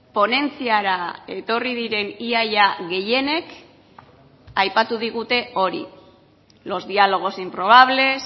ponentziara etorri diren ia ia gehienek aipatu digute hori los diálogos improbables